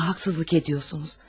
Ona haqsızlıq edirsiniz.